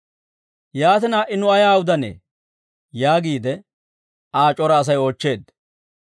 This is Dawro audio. «Yaatina ha"i nu ayaa udanee?» yaagiide Aa c'ora Asay oochcheedda.